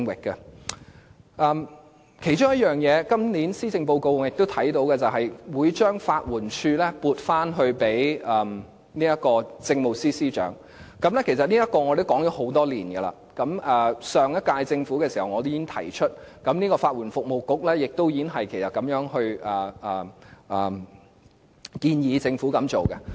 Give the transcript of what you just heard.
我看到今年的施政報告內其中一點是，政府會將法律援助署撥歸政務司司長負責，其實就這項安排，我們已建議多年，我在上屆政府已提出，而法律援助服務局也建議政府作出這項安排。